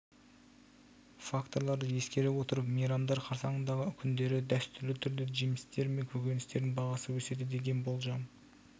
факторларды ескере отырып мейрамдар қарсаңындағы күндері дәстүрлі түрде жемістер мен көкөністердің бағасы өседі деген болжам